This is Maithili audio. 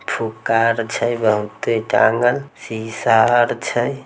फुग्गा आर छै बहुते टांगल शीशा आर छै।